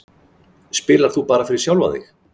Spilar þú bara fyrir sjálfan þig?